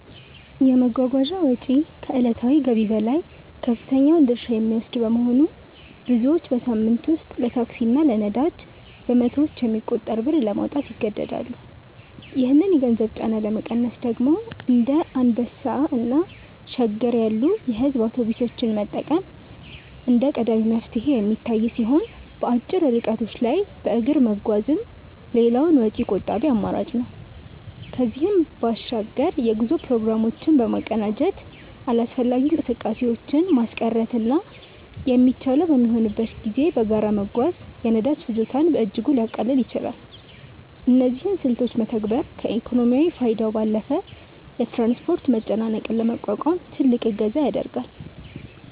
የመጓጓዣ ወጪ ከዕለታዊ ገቢ ላይ ከፍተኛውን ድርሻ የሚወስድ በመሆኑ፣ ብዙዎች በሳምንት ውስጥ ለታክሲ እና ለነዳጅ በመቶዎች የሚቆጠር ብር ለማውጣት ይገደዳሉ። ይህንን የገንዘብ ጫና ለመቀነስ ደግሞ እንደ አንበሳ እና ሸገር ያሉ የሕዝብ አውቶቡሶችን መጠቀም እንደ ቀዳሚ መፍትሄ የሚታይ ሲሆን፣ በአጭር ርቀቶች ላይ በእግር መጓዝም ሌላው ወጪ ቆጣቢ አማራጭ ነው። ከዚህም በባሻግር የጉዞ ፕሮግራሞችን በማቀናጀት አላስፈላጊ እንቅስቃሴዎችን ማስቀረትና የሚቻለው በሚሆንበት ጊዜ በጋራ መጓዝ የነዳጅ ፍጆታን በእጅጉ ሊያቃልል ይችላል። እነዚህን ስልቶች መተግበር ከኢኮኖሚያዊ ፋይዳው ባለፈ የትራንስፖርት መጨናነቅን ለመቋቋም ትልቅ እገዛ ያደርጋል።